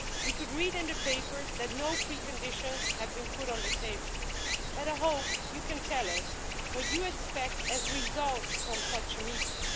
We could read in the papers that no preconditions have been put on the table, but I hope you can tell us what you expect in terms of results from such a meeting.